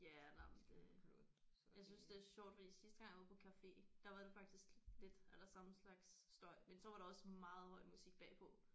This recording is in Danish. Ja nej men det. Jeg synes det er sjovt fordi sidste gang jeg var på café der var det faktisk lidt a la samme slags støj men så var der også meget høj musik bagpå